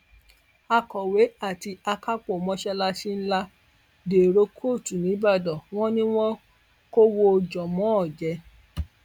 akọwé àti akápò mọṣáláṣí ńlá dèrò kóòtù nìbàdàn wọn ni wọn kọwọ jànmọọn jẹ